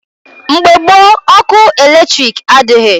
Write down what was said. Mgbe gboo, ọkụ eletrik adịghị.